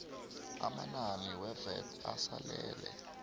amanani wevat asalele